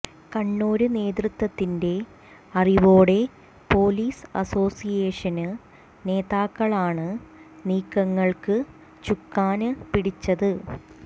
കണ്ണൂര് നേതൃത്വത്തിന്റെ അറിവോടെ പോലീസ് അസോസിയേഷന് നേതാക്കളാണ് നീക്കങ്ങള്ക്ക് ചുക്കാന് പിടിച്ചത്